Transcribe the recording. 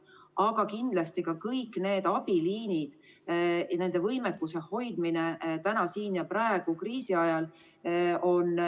Aga kindlasti saavad lisarahastust ka kõik abiliinid, et hoida nende võimekust täna siin ja praegu, kriisiajal.